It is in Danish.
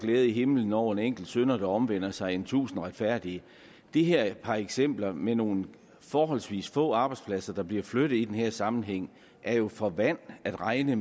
glæde i himlen over en enkelt synder der omvender sig end tusind retfærdige de her par eksempler med nogle forholdsvis få arbejdspladser der bliver flyttet i den her sammenhæng er jo for vand at regne